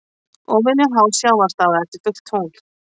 Óvenju há sjávarstaða eftir fullt tungl